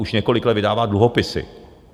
Už několik let vydává dluhopisy.